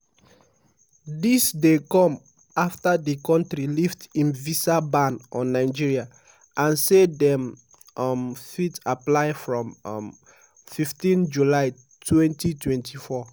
dis dey come afta di kontri lift im visa ban on nigeria and say dem um fit apply from um 15 july 2024.